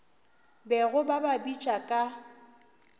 bego ba ba bitša ka